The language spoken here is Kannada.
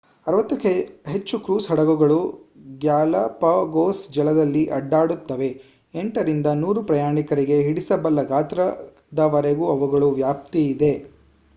60 ಕ್ಕೂ ಹೆಚ್ಚು ಕ್ರೂಸ್ ಹಡಗುಗಳು ಗ್ಯಾಲಪಗೋಸ್ ಜಲದಲ್ಲಿ ಅಡ್ಡಾಡುತ್ತವೆ - 8 ರಿಂದ 100 ಪ್ರಯಾಣಿಕರಿಗೆ ಹಿಡಿಸಬಲ್ಲ ಗಾತ್ರದವರೆಗೂ ಅವುಗಳ ವ್ಯಾಪ್ತಿಯಿದೆ